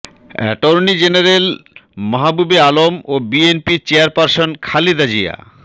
attorney general Mahbubey Alam ও বিএনপির chairperson Khaleda Zia